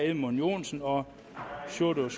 edmund joensen og sjúrður